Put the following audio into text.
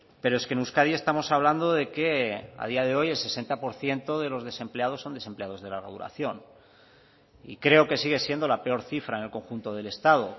pero es que en euskadi estamos hablando de que a día de hoy el sesenta por ciento de los desempleados son desempleados de larga duración y creo que sigue siendo la peor cifra en el conjunto del estado